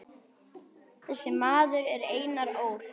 Þessi maður er Einar Ól.